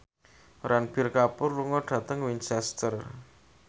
Ranbir Kapoor lunga dhateng Winchester